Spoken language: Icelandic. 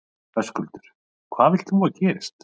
Höskuldur: Hvað vilt þú að gerist?